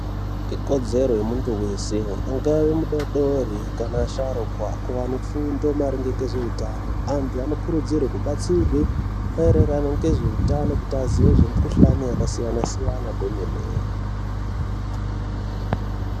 Ikodzero yemuntu weshe angawe mudodori kana asharukwa kuwa nefundo maringe ngezveutano. Antu anokurudzirwe kubatsirwe maererano ngezveutano kuti aziye zvemikhuhlani yakasiyana siyana kwemene.